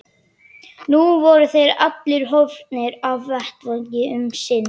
Nú voru þeir allir horfnir af vettvangi um sinn.